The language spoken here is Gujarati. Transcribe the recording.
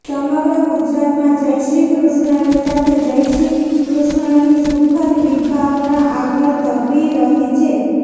સમગ્ર ગુજરાતમાં જય શ્રી કૃષ્ણની સાથે જળ શ્રી કૃષ્ણની સુખદ વિભાવના આગળ ધપી રહી છે